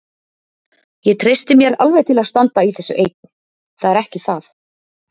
Ég treysti mér alveg til að standa í þessu einn, það er ekki það.